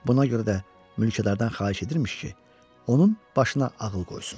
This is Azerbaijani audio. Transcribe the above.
Buna görə də mülkədardan xahiş edirmiş ki, onun başına ağıl qoysun.